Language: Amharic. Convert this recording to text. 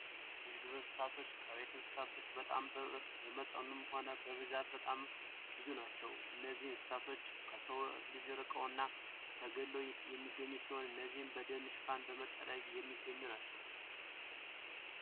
የዱር እንስሳቶች ከቤት እንስሳት በመጠን ሆነ በብዛት በጣም ብዙ ናቸው። እነዚህ እንስሳት ከሰው ልጅ ርቀው እና ተገልለው የሚገኙ ሲሆን እነዚህም በደን ሽፋን መጠለያ የሚገኙ ናቸው።